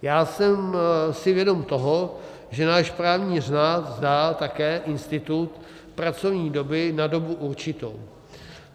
Já jsem si vědom toho, že náš právní řád zná také institut pracovní doby na dobu určitou.